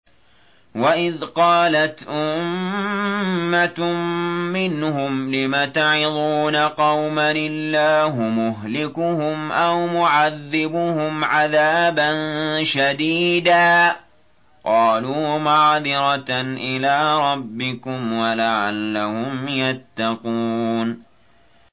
وَإِذْ قَالَتْ أُمَّةٌ مِّنْهُمْ لِمَ تَعِظُونَ قَوْمًا ۙ اللَّهُ مُهْلِكُهُمْ أَوْ مُعَذِّبُهُمْ عَذَابًا شَدِيدًا ۖ قَالُوا مَعْذِرَةً إِلَىٰ رَبِّكُمْ وَلَعَلَّهُمْ يَتَّقُونَ